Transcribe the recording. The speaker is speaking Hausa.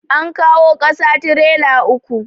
An kawo ƙasa trela uku.